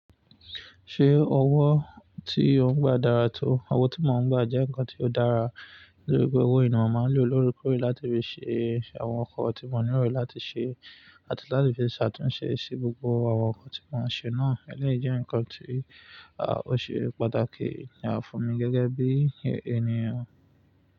Ṣé owó tí ó ń gba dára tó? Owó tí mo ń gba jẹ́ ǹkan tí ó dára, nítorí pé owó yii ni mo máa ń lo lórekọre láti fi ṣe àwọn nkan tí mo ní nilo láti ṣe, àti láti fi ṣàtúnṣe sí gbogbo àwọn nkan tí mo ń ṣe náà. Ẹni jẹ́ ǹkan tí ó ṣe pàtàkì ní ààfín mi gẹ́gẹ́ bí ènìyàn.